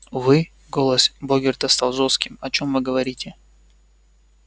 вы голос богерта стал жёстким о чём вы говорите